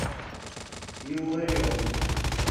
илларионова